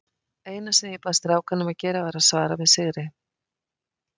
Eina sem ég bað strákana um að gera var að svara með sigri.